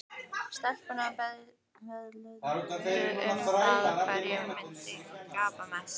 Stelpurnar veðjuðu um það hver myndi gapa mest.